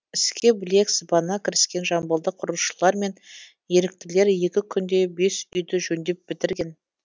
іске білек сыбана кіріскен жамбылдық құрылысшылар мен еріктілер екі күнде бес үйді жөндеп бітірген